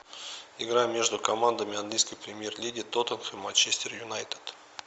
игра между командами английской премьер лиги тоттенхэм манчестер юнайтед